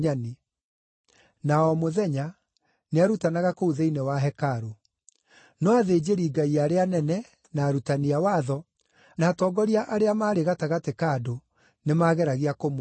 Na o mũthenya, nĩarutanaga kũu thĩinĩ wa hekarũ. No athĩnjĩri-Ngai arĩa anene, na arutani a watho, na atongoria arĩa maarĩ gatagatĩ ka andũ nĩmageragia kũmũũraga.